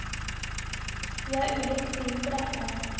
Vi har ulikt syn på dette.